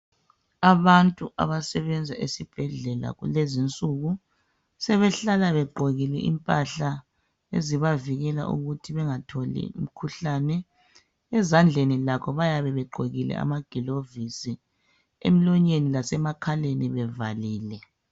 Abantu abasebenza esibhedlela kulezinsuku sebehlala begqokile impahla ezibavikela ukuthi bengatholi imikhuhlane ezandleni lakho bayabe begqokile amagilovisi, emlonyeni lasemakhaleni bevalile